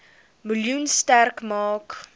miljoen sterk maak